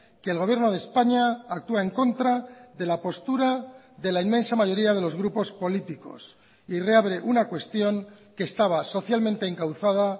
que el gobierno de españa actúa en contra de la postura de la inmensa mayoría de los grupos políticos y reabre una cuestión que estaba socialmente encauzada